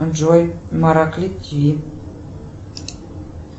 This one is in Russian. джой мараклит ти ви